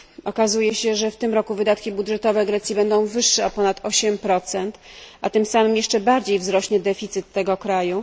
Okazuje się, że w tym roku wydatki budżetowe Grecji będą wyższe o ponad 8, a tym samym jeszcze bardziej wzrośnie deficyt tego kraju.